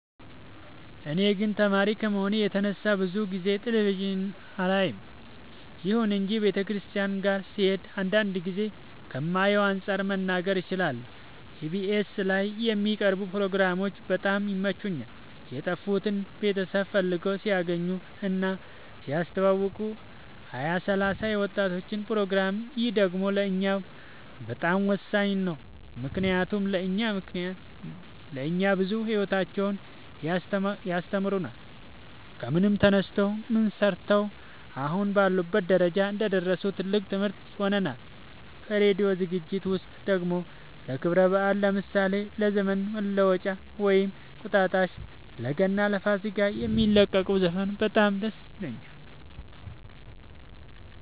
እኔ ግን ተማሪ ከመሆኔ የተነሳ ብዙ ጊዜ ቴሌቪዥን አላይም ይሁን እንጂ ቤተሰቦቼ ጋ ስሄድ አንዳንድ ጊዜ ከማየው አንፃር መናገር እችላለሁ ኢቢኤስ ላይ የሚቀርቡ ፕሮግራሞች በጣም ይመቹኛል የጠፉትን ቤተሰብ ፈልገው ሲያገናኙ እና ሲያስተዋውቁ ሀያ ሰላሳ የወጣቶች ፕሮግራም ይህ ደግሞ ለእኛ በጣም ወሳኝ ነው ምክንያቱም ለእኛ ብዙ ሂወታቸውን ያስተምሩናል ከምን ተነስተው ምን ሰርተው አሁን ላሉበት ደረጃ እንደደረሱ ትልቅ ትምህርት ይሆነናል ከራዲዮ ዝግጅት ውስጥ ደግሞ ለክብረ በአል ለምሳሌ ለዘመን መለወጫ ወይም እንቁጣጣሽ ለገና ለፋሲካ የሚለቁት ዘፈን በጣም ደስ ይለኛል